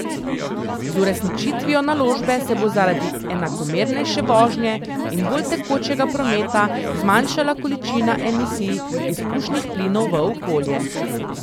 Z uresničitvijo naložbe se bo zaradi enakomernejše vožnje in bolj tekočega prometa zmanjšala količina emisij izpušnih plinov v okolje.